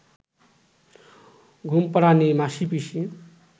ঘুমপাড়ানি মাসীপিসী